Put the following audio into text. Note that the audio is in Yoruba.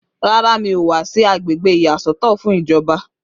Rárá, mi ò wá sí agbègbè ìyàsọ́tọ̀ fún ìjọba